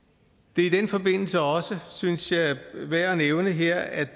det er i den forbindelse også synes jeg værd at nævne her at